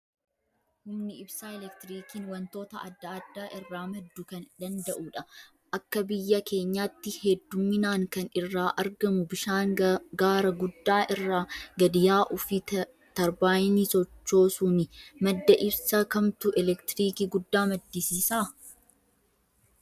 Humni ibsaa elektiriiikiin wantoota adda addaa irraa madduu kan danda'udha. Akka biyya keenyaatti hedduminaan kan irraa argamu bishaan gaara guddaa irraa gadi yaa'uu fi tarbaayinii sochoosuuni. Madda ibsa kamtu elektiriikii guddaa maddisiisaa?